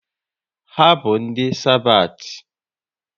Ha bụ ndị Sabathi?